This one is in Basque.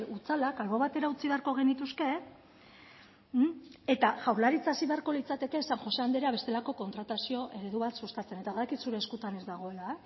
hutsalak albo batera utzi beharko genituzke eta jaurlaritza hasi beharko litzateke san jose andrea bestelako kontratazio eredu bat sustatzen eta badakit zure eskuetan ez dagoela